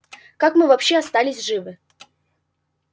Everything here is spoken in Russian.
как мы вообще остались живы